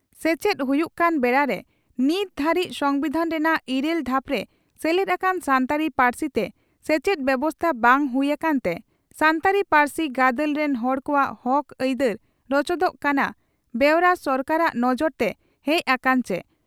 ᱥᱮᱪᱮᱫ ᱦᱩᱭᱩᱜ ᱠᱟᱱ ᱵᱮᱲᱟᱨᱮ ᱱᱤᱛ ᱫᱷᱟᱹᱨᱤᱡ ᱥᱚᱢᱵᱤᱫᱷᱟᱱ ᱨᱮᱱᱟᱜ ᱤᱨᱟᱹᱞ ᱫᱷᱟᱯᱨᱮ ᱥᱮᱞᱮᱫ ᱟᱠᱟᱱ ᱥᱟᱱᱛᱟᱲᱤ ᱯᱟᱹᱨᱥᱤᱛᱮ ᱥᱮᱪᱮᱫ ᱵᱮᱵᱚᱥᱛᱟ ᱵᱟᱝ ᱦᱩᱭ ᱟᱠᱟᱱᱛᱮ ᱥᱟᱱᱛᱟᱲᱤ ᱯᱟᱹᱨᱥᱤ ᱜᱟᱫᱮᱞ ᱨᱤᱱ ᱦᱚᱲ ᱠᱚᱣᱟᱜ ᱦᱚᱠ ᱟᱭᱫᱟᱨ ᱨᱚᱪᱚᱫᱚᱜ ᱠᱟᱱᱟ ᱵᱮᱣᱨᱟ ᱥᱚᱨᱠᱟᱨᱟᱜ ᱱᱚᱡᱚᱨᱛᱮ ᱦᱮᱡᱽ ᱟᱠᱟᱱᱟ ᱪᱮ?